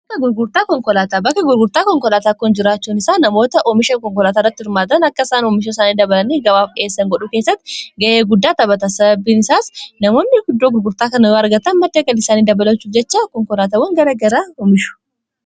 Bakka gurgurtaa konkolaataa bakka gurgurtaa konkolaataa jiraachuun isaa namoota oomisha konkolaataarratti hirmaatan akka isaan oomisha isaanii dabalan gabaaf dhiheessan godhuu keessatti ga'ee guddaa taphata sababbiin isaas namoonni guddoo gurgurtaa kana yoo argatan madda galii isaanii dabalachuu jechaa konkolaataawwan gara garaa oomishu.